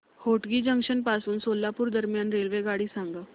Hotgi junction पासून सोलापूर दरम्यान रेल्वेगाडी सांगा